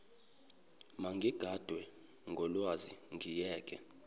mangiganwe ngulwazi ngimyeke